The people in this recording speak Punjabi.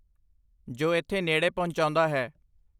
ਜੋ ਇੱਥੇ ਨੇੜੇ ਪਹੁੰਚਾਉਂਦਾ ਹੈ